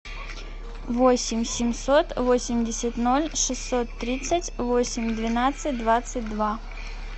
восемь семьсот восемьдесят ноль шестьсот тридцать восемь двенадцать двадцать два